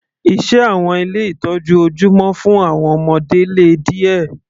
Iṣẹ́ àwọn ilé ìtọ́jú ojúmọ́ fún àwọn ọmọdé le díẹ̀.